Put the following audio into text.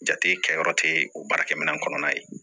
Jate kɛyɔrɔ tɛ o baarakɛminɛn kɔnɔna ye